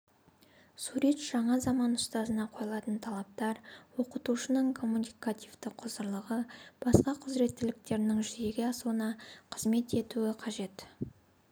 сурет жаңа заман ұстазына қойылатын талаптар оқытушының коммуникативті құзырлығы басқа құзыреттіліктерінің жүзеге асуына қызмет етуі қажет